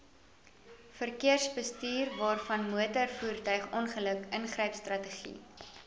verkeersbestuurwaarvanmotorvoertuig ongeluk ingrypstrategie